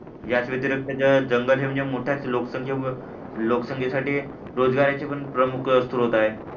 याच व्यतिरिक्त जंगल हे म्हणजे मोठ्या लोकसंख्येमुळे लोकसंख्येसाठी रोजगाराचे पण प्रमुख स्त्रोत आहे